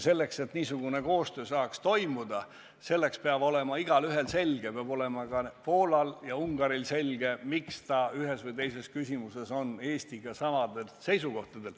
Et niisugune koostöö saaks toimuda, selleks peab olema igaühel selge, peab olema ka Poolal ja Ungaril selge, miks ta ühes või teises küsimuses on Eestiga samadel seisukohtadel.